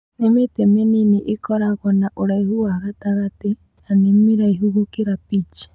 Nĩ mĩtĩ mĩnini ĩkoragwo na ũraihu wa gatagatĩ, na nĩ mĩraihu gũkĩra peach